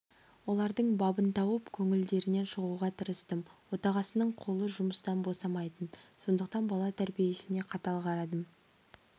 олардың бабын тауып көңілдерінен шығуға тырыстым отағасының қолы жұмыстан босамайтын сондықтан бала тәрбиесіне қатал қарадым